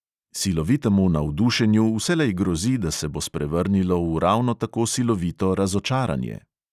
Silovitemu navdušenju vselej grozi, da se bo sprevrnilo v ravno tako silovito razočaranje.